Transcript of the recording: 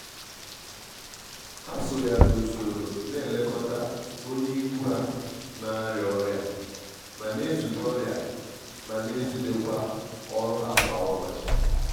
ha so ya n'usoro na elekọta onye ikwu ha na-arịa ọrịa ma n'ezute ọrịa ma n'ezute kwa ọrụ ha kwa ụbọchị.